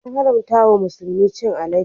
An haramta wa musulmi chin alade.